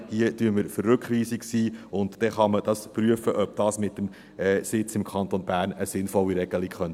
Hier sind wir für die Rückweisung, und dann kann man prüfen, ob das mit dem Sitz im Kanton Bern eine sinnvolle Regelung sein könnte.